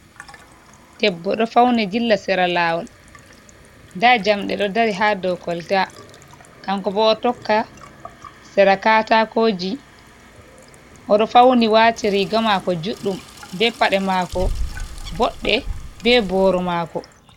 Debbo ɗo fauni dilla sera lawol. nda jamɗe ɗo dari ha dow kolta, kanko bo o tokka sera katakoji. oɗo fauni watirigamako juɗɗum be pade mako bodde, be boro mako.